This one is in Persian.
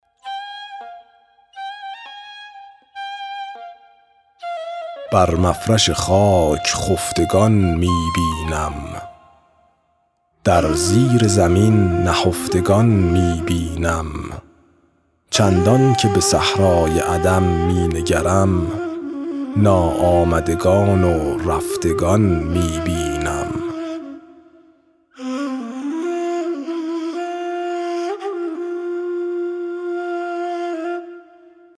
بر مفرش خاک خفتگان می بینم در زیر زمین نهفتگان می بینم چندان که به صحرای عدم می نگرم ناآمدگان و رفتگان می بینم